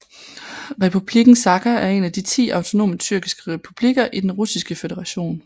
Republikken Sakha er en af de ti autonome tyrkiske republikker i Den Russiske Føderation